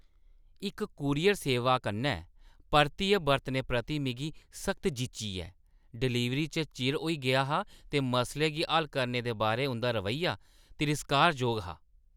इस कूरियर सेवा कन्नै परतियै बरतने प्रति मिगी सख्त जिच्ची ऐ। डलीवरी च चिर होई गेआ हा ते मसले गी हल करने दे बारै उंʼदा रवैया तिरस्कारजोग हा।